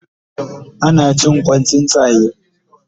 Ana cin Kwan tsuntsaye